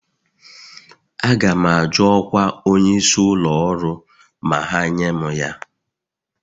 Aga m ajụ ọkwa onyeisi ụlọ ọrụ ma ha nye m ya